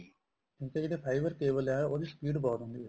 ਹੁਣ ਤਾਂ ਜਿਹੜੀ fiber cable ਏ ਉਹਦੀ speed ਬਹੁਤ ਹੁੰਦੀ ਏ